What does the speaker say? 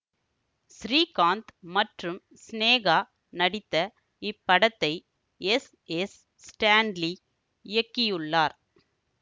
ஸ்ரீகாந்த் மற்றும் சினேகா நடித்த இப்படத்தை எஸ் எஸ் ஸ்டான்லி இயக்கியுள்ளார்